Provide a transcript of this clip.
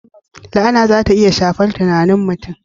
La'ana za ta iya shafar tunanin mutum.